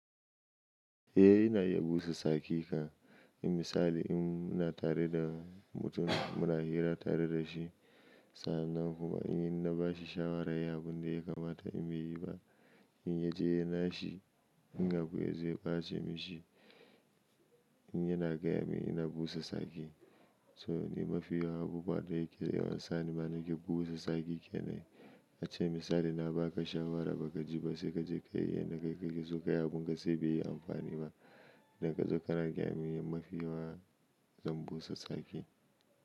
Eh ina iya busa tsaki kan, in misali in muna tare da mutum muna hira tare da shi sannan kuma in ina bashi shawara yi abun da ya kamata in bai yi ba, in ya je ya yi nashi in hakuri zai bace mishi, in yana gaya mini ina busa tsaki. So ni mafi yawan abu baɗa yake yawan sani ba nake busa tsaki kenan. Ace misali na baka shawara baka ji ba sai kaje kayi yanda ka kake so kayi abun ka sai bai yi amfani ba. Da ka zo kana gaya mini mafiyawa zan busa sake.